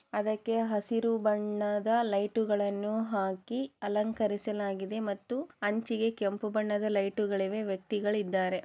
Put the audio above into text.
ಅದಕ್ಕೆ ಹಸಿರು ಬಣ್ಣದ ಲೈಟ್‌ಗಳನ್ನು ಹಾಕಿ ಅಲಂಕರಿಸಲಾಗಿದೆ ಮತ್ತು ಅಂಚಿಗೆ ಕೆಂಪು ಬಣ್ಣದ ಲೈಟ್ಗಳಿವೆ ವ್ಯಕ್ತಿಗಳು ಇದ್ದಾರೆ